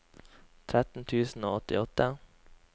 tretten tusen og åttiåtte